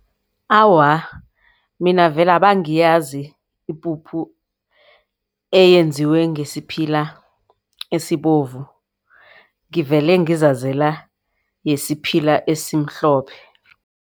Awa, mina vele abangiyazi ipuphu eyenziwe ngesiphila esibovu. Ngivele ngizazela yesiphila esimhlophe.